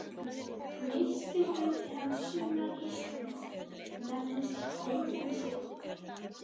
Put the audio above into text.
Nyrsti hluti hans sunnan Íslands nefnist Reykjaneshryggur.